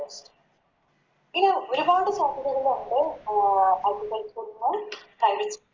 ഇങ്ങനെ ഒരുപാട് സാധ്യതകളുണ്ട് Agriculture ന് Private